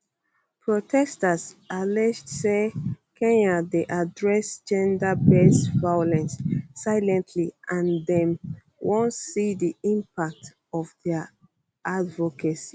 protesters allege say kenya dey address genderbased violence silently and dem wan see di impact of dia advocacy